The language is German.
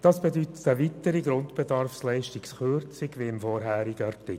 Das bedeutet eine weitere Grundbedarfsleistungskürzung wie im vorherigen Artikel.